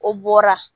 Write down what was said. O bɔra